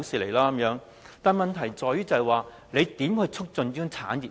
但是，問題是當局如何促進這個產業呢？